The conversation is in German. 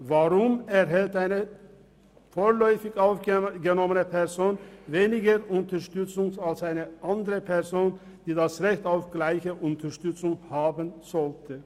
Weshalb erhält eine vorläufig aufgenommene Person weniger Unterstützung als eine andere Person, die das Recht auf gleiche Unterstützung haben sollte?